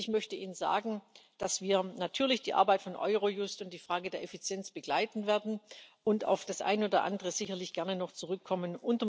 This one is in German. Und ich möchte Ihnen sagen, dass wir natürlich die Arbeit von Eurojust und die Frage der Effizienz begleiten werden und auf das eine oder andere sicherlich gerne noch zurückkommen.